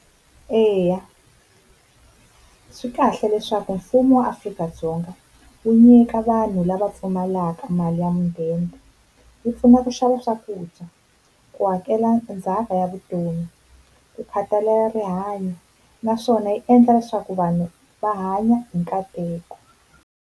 Eya swi kahle leswaku mfumo wa Afrika-Dzonga wu nyika vanhu lava pfumalaka mali ya mudende, yi pfuna ku swakudya, ku hakela ndzhaka ya vutomi ku khathalela rihanyo, naswona yi endla leswaku vanhu va hanya hi nkateko.